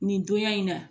Nin donya in na